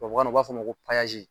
Tubabukan na u b'a fɔ ko